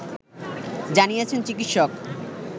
জানিয়েছেন চিকিৎসক